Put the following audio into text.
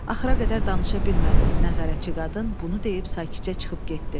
Axıra qədər danışa bilmədi, nəzarətçi qadın bunu deyib sakitcə çıxıb getdi.